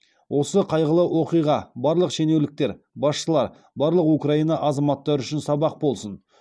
осы қайғылы оқиға барлық шенеуніктер басшылар барлық украина азаматтары үшін сабақ болсын